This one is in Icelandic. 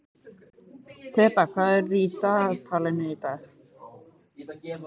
Þeba, hvað er í dagatalinu í dag?